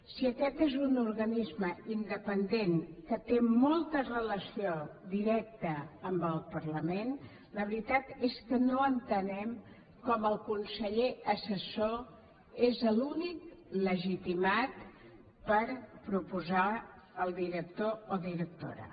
si aquest és un organisme independent que té molta relació directa amb el parlament la veritat és que no entenem com el conseller assessor és l’únic legitimat per proposar el director o directora